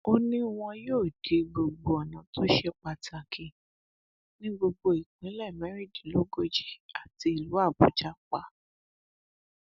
ó ní wọn yóò di gbogbo ọnà tó ṣe pàtàkì ní gbogbo ìpínlẹ mẹrìndínlógójì àti ìlú àbújá pa